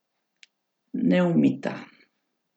Neumita.